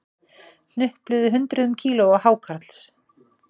Hnupluðu hundruðum kílóa hákarls